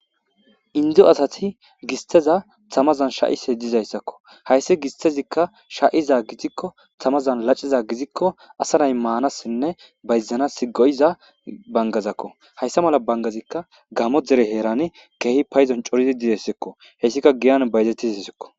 Indzzo asati gisteza tamazan sha'ise dizayssakko hayssi gistezikka sha'iza gizikko tamazan laciza gizikko asanay maanassinne bayzanas goyiza bangazakko hayssa mala bangazikka gamo dere heerani keehi payzon coridi didessekko hessika giyan bayzetizsikko.